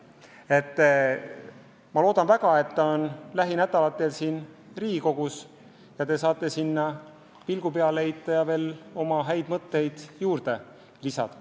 Ma loodan väga, et ta jõuab lähinädalatel Riigikogusse ja te saate sellele pilgu peale heita ja oma häid mõtteid juurde lisada.